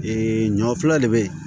ɲɔ filɛ de be yen